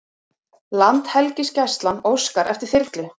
Landhelgisgæslan óskar eftir þyrlu